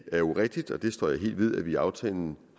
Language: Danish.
er rigtigt og det står jeg helt ved at vi i aftalen